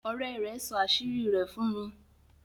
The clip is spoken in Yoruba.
òré rẹ sọ àṣírí rẹ̀ fún mi.